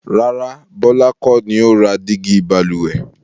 Rárá, Bọlá kọ́ ni ó ra dígí Balùwẹ̀